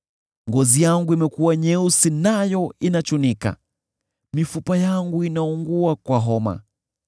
Ngozi yangu imekuwa nyeusi nayo inachunika; mifupa yangu inaungua kwa homa.